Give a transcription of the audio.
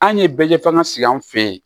An ye bɛɛ ɲɛfɔ an ka sigi an fɛ yen